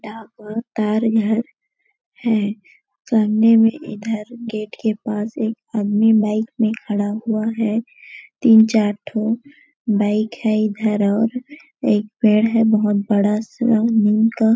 घर है सामने में इधर गेट के पास एक आदमी बाइक पे खड़ा हुआ है तीन चार ठो बाइक है इधर और एक पेड़ है बहुत बड़ा सा नीम का--